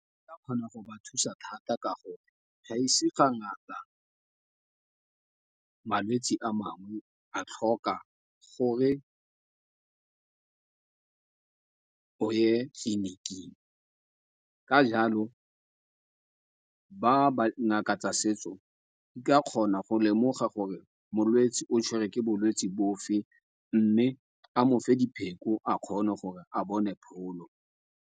kgona go ba thusa thata, ka gore gaise ga ngata malwetsi a mangwe a tlhoka gore o ye tleliniking. Ka jalo, ba ngaka tsa setso di ka kgona go lemoga gore molwetsi o tshwerwe ke bolwetsi bofe, mme a mo fe dipheko a kgone gore a bone pholo.